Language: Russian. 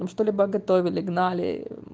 там что-либо готовили гнали